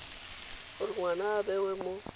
gore ngwana a bewe mo